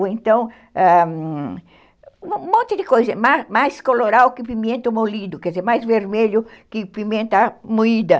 Ou então, ãh, um monte de coisa, mais colorau que pimenta molida, quer dizer, mais vermelho que pimenta moída.